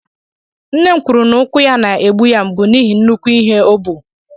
Nne m kwuru na úkwù ya na-egbu ya mgbu n'ihi nnukwu ibu o buru.